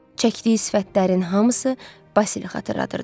Çəkdiyi sifətlərin hamısı Basilə xatırladırdı.